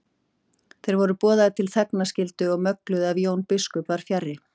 Þeir voru boðaðir til þegnskylduvinnu og mögluðu ef Jón biskup var fjarri.